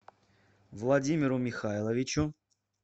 владимиру михайловичу